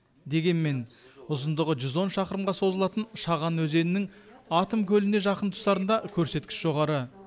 дегенмен ұзындығы жүз он шақырымға созылатын шаған өзенінің атом көліне жақын тұстарында көрсеткіш жоғары